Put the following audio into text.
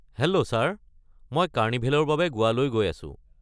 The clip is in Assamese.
হেল্লো ছাৰ, মই কাৰ্নিভেলৰ বাবে গোৱালৈ গৈ আছো।